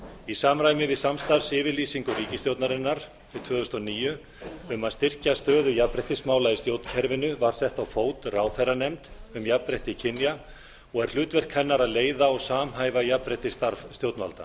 í samræmi við samstarfsyfirlýsingu ríkisstjórnarinnar til tvö þúsund og níu um að styrkja stöðu jafnréttismála í stjórnkerfinu var sett á fót ráðherranefnd um jafnrétti kynja og er hlutverk hennar að leiða og samhæfa jafnréttisstarf stjórnvalda